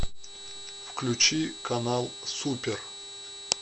включи канал супер